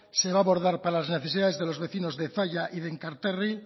se va a abordar para las necesidades de los vecinos de zalla y de enkarterri